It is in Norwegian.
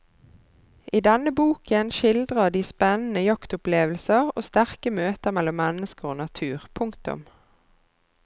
I denne boken skildrer de spennende jaktopplevelser og sterke møter mellom mennesker og natur. punktum